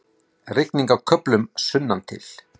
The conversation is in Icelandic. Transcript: Rigning með köflum sunnantil